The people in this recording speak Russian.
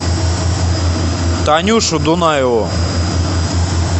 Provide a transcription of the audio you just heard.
танюшу дунаеву